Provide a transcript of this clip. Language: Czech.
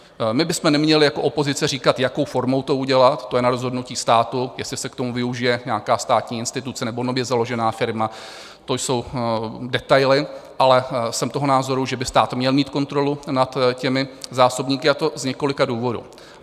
My bychom neměli jako opozice říkat, jakou formou to udělat, to je na rozhodnutí státu, jestli se k tomu využije nějaká státní instituce, nebo nově založená firma, to jsou detaily, ale jsem toho názoru, že by stát měl mít kontrolu nad těmi zásobníky, a to z několika důvodů.